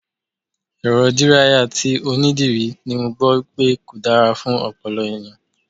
Èrọ díráyà tí onídìrí ni mo gbọ́ wípé kò dára fún ọpọlọ ẹ̀yàn.